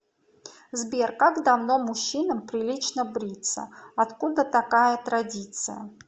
сбер как давно мужчинам прилично бриться откуда такая традиция